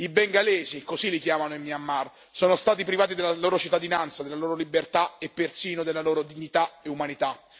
I bengalesi così li chiamano in Myanmar sono stati privati della loro cittadinanza, della loro libertà e persino della loro dignità e umanità.